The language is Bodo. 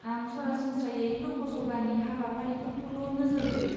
आं सरासनस्रायै ल'क सभानि हाबाफारिफोरखौल' नोजोर होयो।